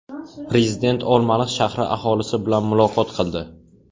Prezident Olmaliq shahri aholisi bilan muloqot qildi.